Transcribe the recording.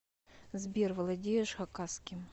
сбер владеешь хакасским